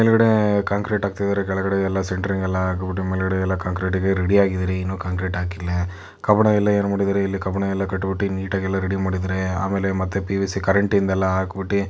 ಮೇಲಗಡೆ ಕಾಂಕ್ರೆಟ್ ಹಾಕ್ತಿದ್ದಾರೆ ಕೆಳಗಡೆ ಎಲ್ಲಾ ಸೆಂಟ್ರಿಂಗ್ ಎಲ್ಲಾ ಹಾಕಿಬಿಟ್ಟು ಮೇಲಗಡೆ ಎಲ್ಲಾ ಕಾಂಕ್ರೆಟಗೆ ರೆಡಿಯಾಗಿದಿರಿ ಇನ್ನು ಕಾಂಕ್ರೆಟ್ ಹಾಕಿಲ್ಲಾ ಕಬ್ಬನ್ ಎಲ್ಲಾ ಎನ್ ಮಾಡಿದಾರೆ ಇಲ್ಲ ಕಬ್ಬನ್ ಕಟ್ಟೊಟ್ಟಿಗೆ ಎಲ್ಲಾ ನೀಟಾಗಿ ರೆಡಿ ಮಾಡಿದ್ದಾರೆ ಆಮೇಲೆ ಮತ್ತೆ ಪಿ.ಯು.ಸಿ. ಕರೆಂಟಿದಿಲ್ಲಾ ಹಾಕಬಿಟ್ಟ--